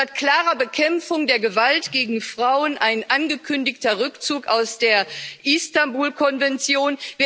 Statt klarer Bekämpfung der Gewalt gegen Frauen ein angekündigter Rückzug aus der Istanbul Konvention.